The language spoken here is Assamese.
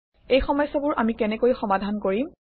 এই সমস্যাবোৰ আমি কেনেকৈ সমাধান কৰিম